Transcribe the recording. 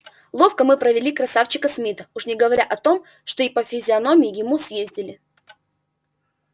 ловко мы провели красавчика смита уж не говоря о том что и по физиономии ему съездили